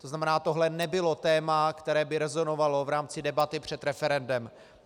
To znamená, tohle nebylo téma, které by rezonovalo v rámci debaty před referendem.